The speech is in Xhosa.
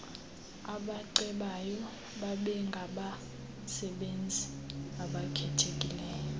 abacebayo babengabasebenzi abakhethekileyo